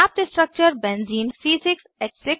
प्राप्त structure benzene benzene है